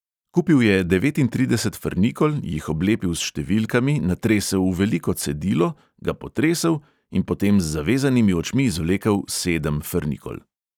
Kupil je devetintrideset frnikol, jih oblepil s številkami, natresel v veliko cedilo, ga potresel in potem z zavezanimi očmi izvlekel sedem frnikol.